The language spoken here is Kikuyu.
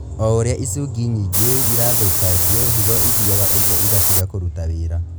O ũrĩa icungi nyingĩ irathũkangio, higo ĩthiaga ũguo ĩgatiga kũruta wĩra